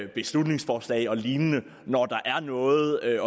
beslutningsforslag og lignende når der er noget at